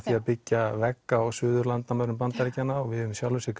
byggja vegg á suðurenda Bandaríkjanna og við höfum í sjálfu sér